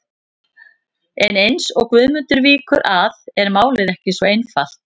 En eins og Guðmundur víkur að er málið ekki svo einfalt.